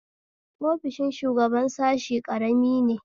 Ofishin shugaban sashe ƙarami ne